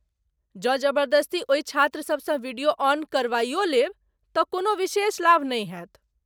जँ जबरदस्ती ओहि छात्रसबसँ वीडियो ऑन करवाइयो लेब तँ कोनो विशेष लाभ नहि होयत।